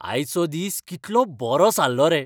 आयचो दीस कितलो बरो सारलो रे.